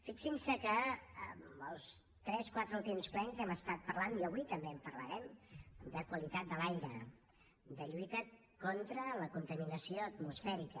fixin se que els tres quatre últims plens hem estat parlant i avui també en parlarem de qualitat de l’aire de lluita contra la contaminació atmosfèrica